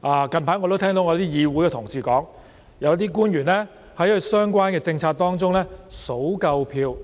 我近來也聽到議會的同事表示，有些官員在其相關的政策中，點算足夠票